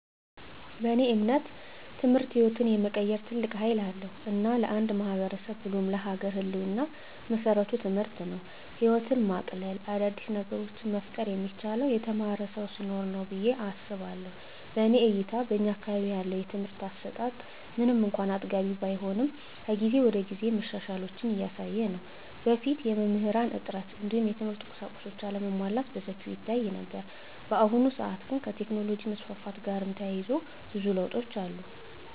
በእኔ እምነት ትምህርት ህይወትን የመቀየር ትልቅ ሀይል አለዉ። እና ለአንድ ማህበረሰብ ብሎም ለሀገር ህልወና መሰረቱ ትምህርት ነው። ህይወትን ማቅለል : አዳዲስ ነገሮችን መፍጠር የሚቻለው የተማረ ሰው ሲኖር ነው ብየ አስባለሁ። በእኔ እይታ በእኛ አካባቢ ያለው የትምህርት አሰጣት ምንም እንኳን አጥጋቢ ባይሆንም ከጊዜ ወደጊዜ መሻሻሎችን እያሳየ ነው። በፊት የመምህራን እጥረት እንዲሁም የትምህርት ቁሳቁሶች አለመሟላት በሰፊው ይታይ ነበር። በአሁኑ ሰአት ግን ከቴክኖሎጅ መስፋፋት ጋርም ተያይዞ ብዙ ለውጦች አሉ።